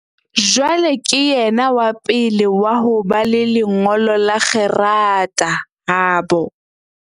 Jwale ke yena wa pele wa ho ba le lengolo la kgerata habo.